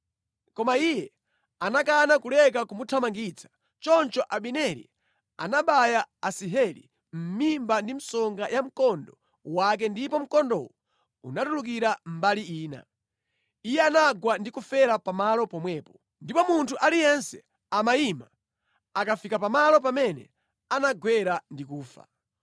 Koma iye anakana kuleka kumuthamangitsa. Choncho Abineri anabaya Asaheli mʼmimba ndi msonga ya mkondo wake ndipo mkondowo unatulukira mbali ina. Iye anagwa ndi kufera pamalo pomwepo. Ndipo munthu aliyense amayima akafika pamalo pamene anagwera ndi kufa.